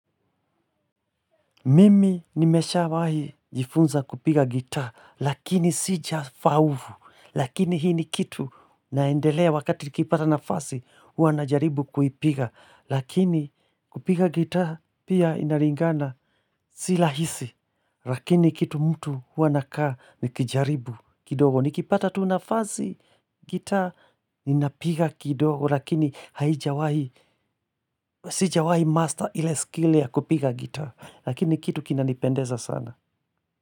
Mimi nimeshawahi jifunza kupiga gita, lakini sija faulu, lakini hii ni kitu naendelea wakati nikipata nafasi, hua najaribu kuipiga, lakini kupiga gita, pia inalingana sirahisi, lakini kitu mtu hua na anakaa nikijaribu kidogo. Nikipata tunafasi gita, ninapiga kidogo, lakini haijawahi, sijawahi master ile skill ya kupiga gita. Lakini kitu kina nipendeza sana.